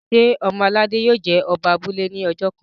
ṣe ọmọ aládé yio jé Oba abúlé ní ojó kán?